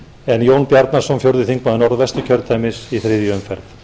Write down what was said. en jón bjarnason fjórði þingmaður norðvesturkjördæmis í þriðju umferð